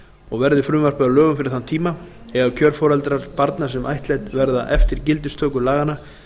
og verði frumvarpið að lögum fyrir þann tíma eiga kjörforeldrar barna sem ættleidd verða eftir gildistöku laganna